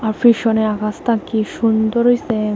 পেছনের আকাশতা কি সুন্দর হইছে।